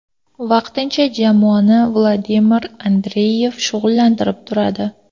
Vaqtincha jamoani Vladimir Andreyev shug‘ullantirib turadi.